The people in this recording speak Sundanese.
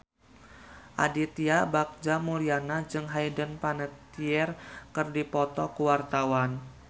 Aditya Bagja Mulyana jeung Hayden Panettiere keur dipoto ku wartawan